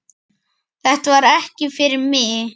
Þetta var ekki fyrir mig